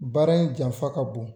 Baara in janfa ka bon.